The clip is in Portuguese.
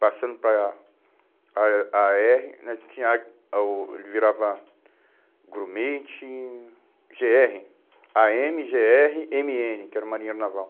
Passando para para á erre né que tinha a o, ele virava grumete, gê erre, á eme, gê erre, eme ene, que era o marinheiro naval.